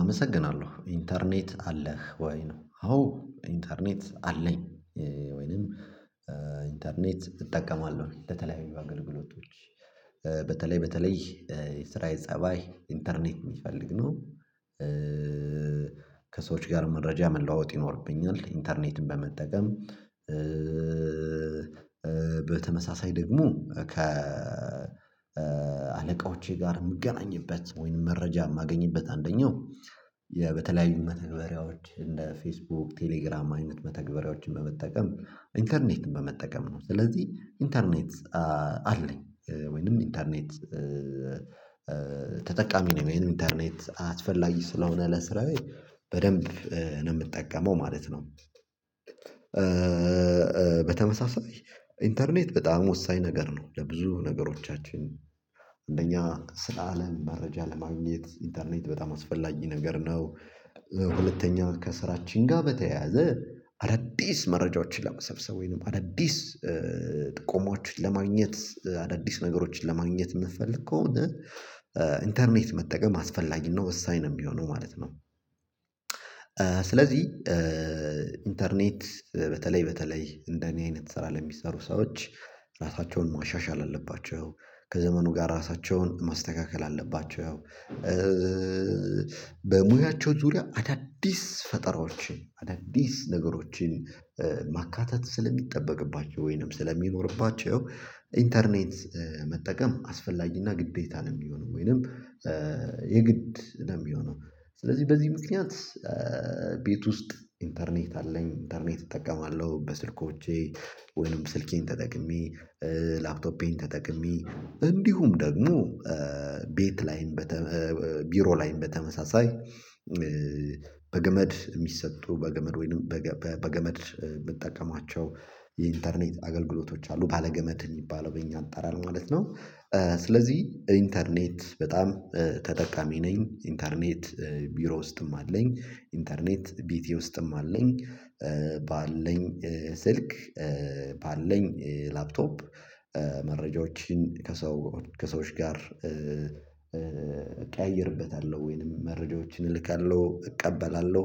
አመሰግናለሁ ኢንተርኔት አለህ ወይ ነው? አዎ ኢንተርኔት አለኝ ወይንም ኢንተርኔት እጠቀማለሁ በተለይ በአገልግሎቶች በተለይ በተለይ የስራ የፀባይ ኢንተርኔት የሚፈልግ ነው። ከሰዎች ጋር መረጃ መለዋወጥ ይኖርብኛል ኢንተርኔትን በመጠቀም። በተመሳሳይ ደግሞ ከ አለቆቼ ጋር የምገናኝበት ወይንም መረጃ የማገኝበት አንደኛው በተለያዩ መተግበሪያዎች እንደ ፌስቡክ ቴሌግራም አይነት መተግበሪያዎችን በመጠቀም ኢንተርኔት በመጠቀም ነው። ስለዚህ ኢንተርኔት አለኝ ወይንም ኢንተርኔት ተጠቃሚ ነኝ ኢንተርኔት አስፈላጊ ስለሆነ ለስራዬ በደንብ ነው የምጠቀመው ማለት ነው። በተመሳሳይ ኢንተርኔት በጣም ወሳኝ ነገር ነው ለብዙ ነገሮቻችን አንደኛ ስለ አለም መረጃ ለማግኘት ኢንተርኔት በጣም አስፈላጊ ነገር ነው። ሁለተኛ ከስራችን ጋር በተያያዘ አዳዲስ መረጃዎችን ለመሰብሰብ ወይንም አዳዲስ ቆሞችን ለማግኘት አዳዲስ ነገሮችን ለማግኘት የምትፈልግ ከሆነ ኢንተርኔት መጠቀም አስፈላጊ እና ወሳኝ ነው የሚሆነው ማለት ነው። ስለዚህ ኢንተርኔት በተለይ በተለይ እንደኔ አይነት እሰራለሁ የሚሰሩ ሰዎች ራሳቸውን ማሻሻል አለባቸው ከዘመኑ ጋር ራሳቸውን ማስተካከል አለባቸው። በሙያቸው ዙሪያ አዳዲስ ፈጠራዎችን አዳዲስ ነገሮችን ማካተት ስለሚጠበቅባቸው ወይንም ስለሚኖርባቸው ኢንተርኔት መጠቀም አስፈላጊና ግዴታ ነው የሚሆነው ወይንም የግድ ነው የሚሆነው ስለዚህ በዚህ ምክንያት። ቤት ውስጥ ኢንተርኔት አለኝ ኢንተርኔት እጠቀማለሁ በስልኮቼ ወይንም ስልኬን ተጠቅሜ ላፕቶፔን ተጠቅሜ እንዲሁም ደግሞ ቤት ላይም ቢሮ ላይም በተመሳሳይ በገመድ የሚሰጡ በገመድ ወይም በገመድ የምጠቀማቸው የኢንተርኔት አገልግሎቶች አሉ ባለገመድ የሚባለው በእኛ አጠራር ማለት ነው። ስለዚህ ኢንተርኔት በጣም ተጠቃሚ ነኝ ኢንተርኔት ቢሮ ውስጥም አለኝ ኢንተርኔት ቤቴ ውስጥም አለኝ። ባለኝ ስልክ ባለኝ ላፕቶፕ መረጃዎችን ከሰው ከሰዎች ጋር እቀያይርበታለሁ ወይንም መረጃዎችን እልካለሁ እቀበላለሁ።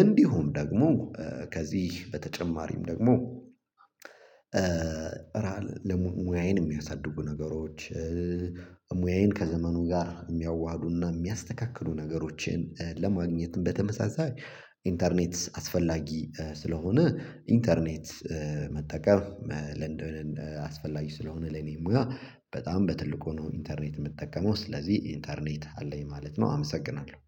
እንዲሁም ደግሞ ከዚህ በተጨማሪም ደግሞ። ሙያዬን የሚያሳድጉ ነገሮች ሙያዬን ከዘመኑ ጋር የሚያዋህዱና የሚያስተካክሉ ነገሮችን ለማግኘት በተመሳሳይ ኢንተርኔት አስፈላጊ ስለሆነ ኢንተርኔት መጠቀም ለንደን አስፈላጊ ስለሆነ ለኔም ጋር በጣም በትልቁ ነው ኢንተርኔት የምጠቀመው ስለዚህ ኢንተርኔት አለኝ ማለት ነው አመሰግናለሁ